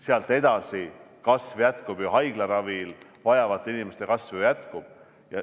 Sealt edasi kasv jätkub, haiglaravi vajavate inimeste kasv ju jätkub.